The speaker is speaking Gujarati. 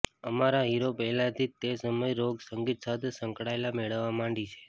અમારા હીરો પહેલાથી જ તે સમયે રોક સંગીત સાથે સંકળાયેલા મેળવવા માંડી છે